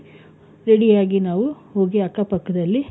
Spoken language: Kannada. ready ಆಗಿ ನಾವು ಹೋಗಿ ಅಕ್ಕ ಪಕ್ಕದಲ್ಲಿ,